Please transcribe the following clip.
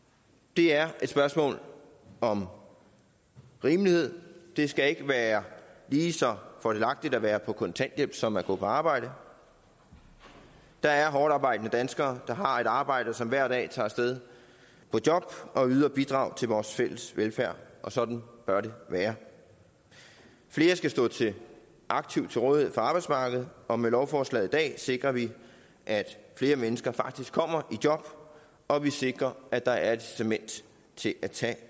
det er et spørgsmål om rimelighed det skal ikke være lige så fordelagtigt at være på kontanthjælp som at gå på arbejde der er hårdtarbejdende danskere der har et arbejde som hver dag tager af sted på job og yder bidrag til vores fælles velfærd og sådan bør det være flere skal stå aktivt til rådighed for arbejdsmarkedet og med lovforslaget i dag sikrer vi at flere mennesker faktisk kommer i job og vi sikrer at der er et incitament til at tage